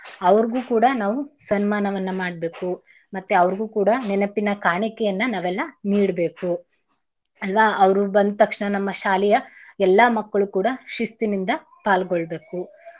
ಅವ್ರ್ಗೂ ಕೂಡ ನಾವು ಸನ್ಮಾನವನ್ನ ಮಾಡ್ಬೇಕು ಮತ್ತೇ ಅವ್ರ್ಗೂ ಕೂಡ ನೆನಪಿನ ಕಾಣಿಕೆಯನ್ನ ನಾವೆಲ್ಲಾ ನೀಡ್ಬೇಕು ಅಲ್ವಾ ಅವ್ರು ಬಂದ್ತಕ್ಷಣ ನಮ್ಮ ಶಾಲೆಯ ಎಲ್ಲಾ ಮಕ್ಕಳು ಕೂಡ ಶಿಸ್ತಿನಿಂದ ಪಾಲ್ಗೊಳ್ಬೇಕು.